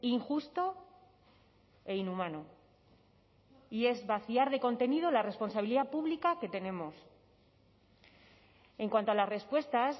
injusto e inhumano y es vaciar de contenido la responsabilidad pública que tenemos en cuanto a las respuestas